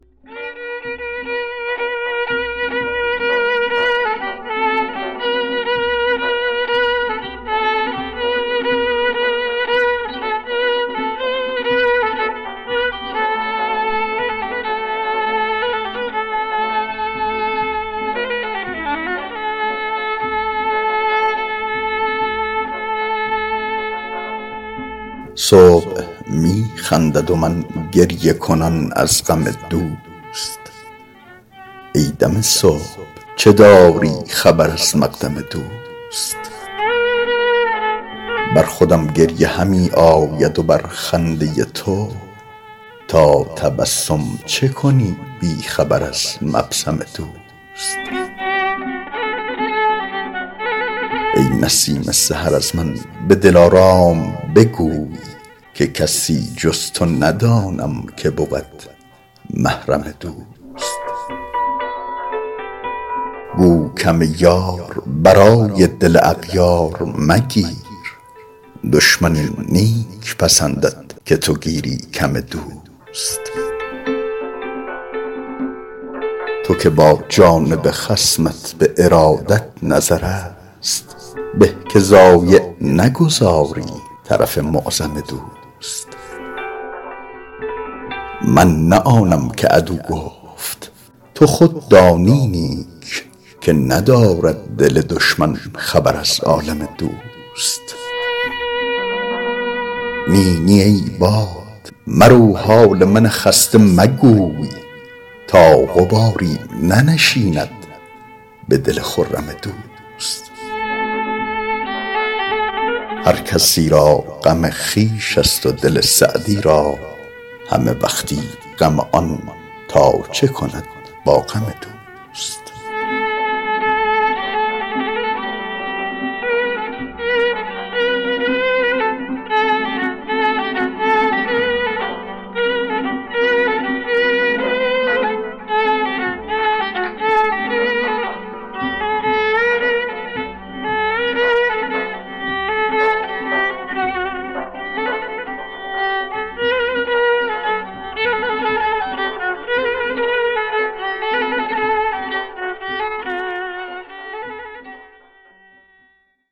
صبح می خندد و من گریه کنان از غم دوست ای دم صبح چه داری خبر از مقدم دوست بر خودم گریه همی آید و بر خنده تو تا تبسم چه کنی بی خبر از مبسم دوست ای نسیم سحر از من به دلارام بگوی که کسی جز تو ندانم که بود محرم دوست گو کم یار برای دل اغیار مگیر دشمن این نیک پسندد که تو گیری کم دوست تو که با جانب خصمت به ارادت نظرست به که ضایع نگذاری طرف معظم دوست من نه آنم که عدو گفت تو خود دانی نیک که ندارد دل دشمن خبر از عالم دوست نی نی ای باد مرو حال من خسته مگوی تا غباری ننشیند به دل خرم دوست هر کسی را غم خویش ست و دل سعدی را همه وقتی غم آن تا چه کند با غم دوست